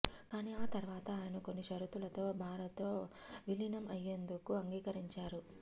కానీ ఆ తర్వాత ఆయన కొన్ని షరతులతో భారత్లో విలీనం అయ్యేందుకు అంగీకరించారు